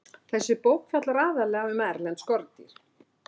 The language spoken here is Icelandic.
Þessi bók fjallar aðallega um erlend skordýr.